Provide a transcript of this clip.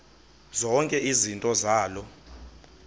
zonke izinto zaloo